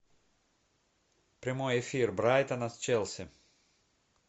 прямой эфир брайтона с челси